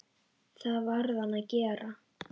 Það varð hann að gera.